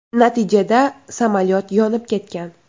Natijada samolyot yonib ketgan.